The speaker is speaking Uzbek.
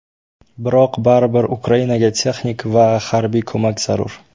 Biroq baribir Ukrainaga texnik va harbiy ko‘mak zarur.